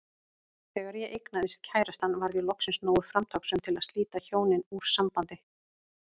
Þegar ég eignaðist kærastann varð ég loksins nógu framtakssöm til að slíta hjónin úr sambandi.